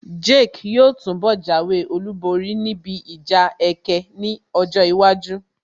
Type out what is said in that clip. Jake yóò túnbọ̀ jáwé olúborí níbi ìjà ẹkẹ ní ọjọ́ iwájú